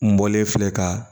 N bɔlen filɛ ka